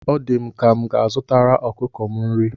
O di m ka m ga-azutara ọkụkọ m nri.